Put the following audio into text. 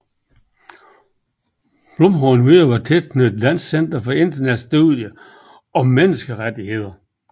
Blum har endvidere været tilknyttet Dansk Center for Internationale Studier og Menneskerettigheder